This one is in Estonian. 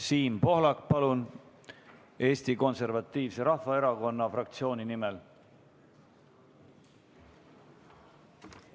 Siim Pohlak Eesti Konservatiivse Rahvaerakonna fraktsiooni nimel, palun!